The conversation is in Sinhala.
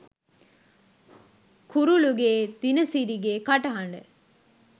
කුරුලුගේ දිනසිරිගේ කටහඬ